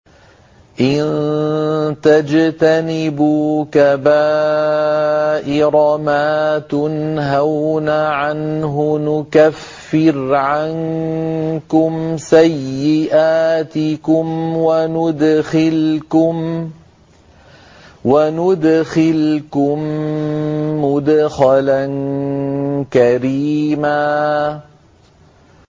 إِن تَجْتَنِبُوا كَبَائِرَ مَا تُنْهَوْنَ عَنْهُ نُكَفِّرْ عَنكُمْ سَيِّئَاتِكُمْ وَنُدْخِلْكُم مُّدْخَلًا كَرِيمًا